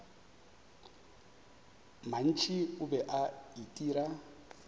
mantši o be a itira